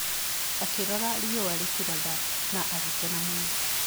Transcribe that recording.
Akĩrora riũa rĩkĩratha na agĩkena mũno.